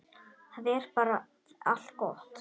Það er bara allt gott.